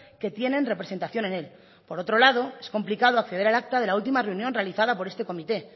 que tienen representación en él por otro lado es complicado acceder al acta de la última reunión realizada por este comité